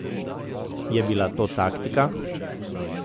Je bila to taktika?